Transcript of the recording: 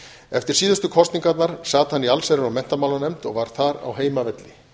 eftir síðustu kosningarnar sat hann í allsherjar og menntamálanefnd og var þar á heimavelli